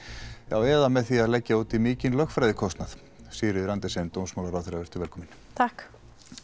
eða með því að leggja út í mikinn lögfræðikostnað Sigríður Andersen dómsmálaráðherra velkomin takk